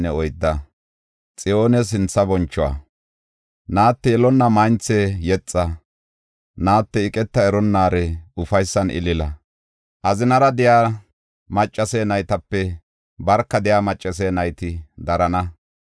Naate, yelonna maynthe, yexa! Naate, iqeta eronnaare, ufaysan ilila! Azinara de7iya maccase naytape barka de7iya maccase nayti darana.